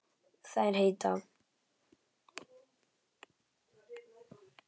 Þær heita